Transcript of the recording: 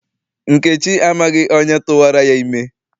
Nkechi amaghị onye tụwara ya ime.